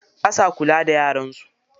Basa kula da yaran su.